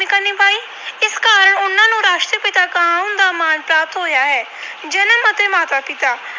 ਨਿਭਾਉਣ ਦਾ ਮਾਣ ਪ੍ਰਾਪਤ ਹੋਇਆ ਹੈ। ਜਨਮ ਅਤੇ ਮਾਤਾ ਪਿਤਾ